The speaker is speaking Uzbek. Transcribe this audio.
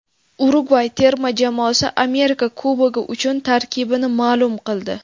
Urugvay terma jamoasi Amerika Kubogi uchun tarkibini ma’lum qildi.